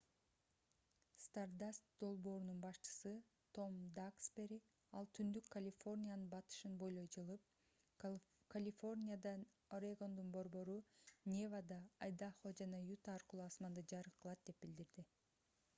stardust долбоорунун башчысы том даксбери ал түндүк калифорниянын батышын бойлой жылып калифорниядан орегондун борбору невада айдахо жана юта аркылуу асманды жарык кылат деп билдирди